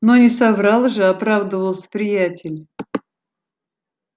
но не соврал же оправдывался приятель